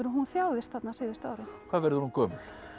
hún þjáðist þarna síðustu árin hvað verður hún gömul